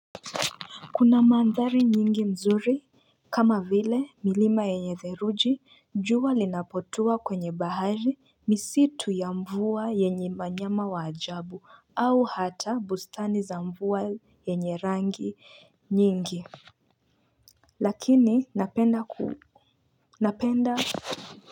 Kuna maandhari nyingi mzuri kama vile milima yenye dheruji jua linapotua kwenye bahari misitu ya mvua yenye manyama wa ajabu au hata bustani za mvua yenye rangi nyingi Lakini napenda ku napenda.